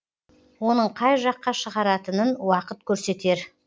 оның қай жаққа шығаратынын уақыт көрсетер